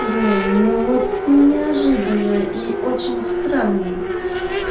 блин ну вот неожиданно и очень странно